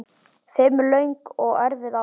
Fimm löng og erfið ár.